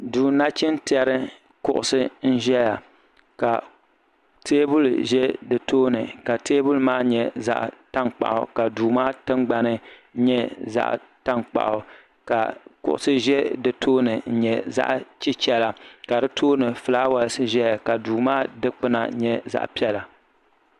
duu nachin tiɛri kuɣusi n ʒɛya ka teebuli ʒɛ di tooni teebuli maa nyɛ zaɣ tankpaɣu ka duu maa tingbani nyɛ zaɣ tankpaɣu ka kuɣusi ʒɛ di tooni n nyɛ zaɣ chichɛla ka di tooni fulaawaasi ʒɛya ka duu kaa dikpuna nyɛ zaɣ piɛla